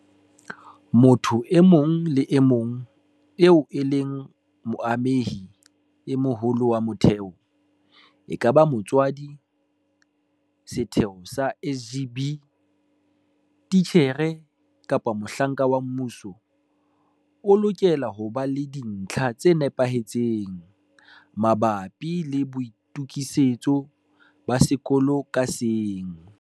Motho e mong le e mong eo e leng moamehi e moholo wa motheo, ekaba motswadi, setho sa SGB, titjhere kapa mohlanka wa mmuso, o lokela ho ba le dintlha tse nepahetseng mabapi le boitokisetso ba sekolo ka seng.